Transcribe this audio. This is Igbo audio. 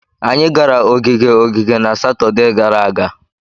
Anyị gara ogige ogige na Satọde gara aga.